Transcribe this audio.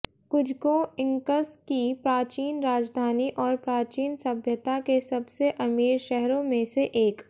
Cusco Incas की प्राचीन राजधानी और प्राचीन सभ्यता के सबसे अमीर शहरों में से एक